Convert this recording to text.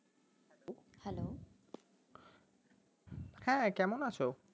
হ্যাঁ কেমন আছো